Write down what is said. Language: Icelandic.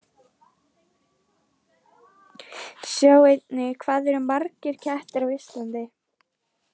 Sjá einnig: Hvað eru margir kettir á Íslandi?